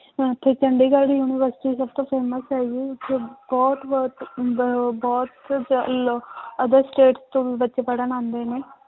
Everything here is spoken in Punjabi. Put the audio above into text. ਇੱਥੇ ਚੰਡੀਗੜ੍ਹ university ਸਭ ਤੋਂ famous ਹੈਗੀ ਹੈ ਇੱਥੇ ਬਹੁਤ ਹੁੰਦਾ ਹੈ ਉਹ ਬਹੁਤ other state ਤੋਂ ਵੀ ਬੱਚੇ ਪੜ੍ਹਨ ਆਉਂਦੇ ਨੇ